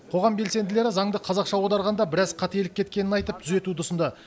қоғам белсенділері заңды қазақшаға аударғанда біраз қателік кеткенін айтып түзетуді ұсынды